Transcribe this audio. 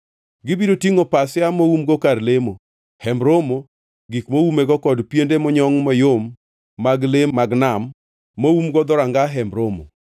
Gibiro tingʼo pasia moumgo kar lemo, Hemb Romo, gik moumego kod piende monyongʼ mayom mag le mag nam moumgo wiye, moumgo dhoranga Hemb Romo,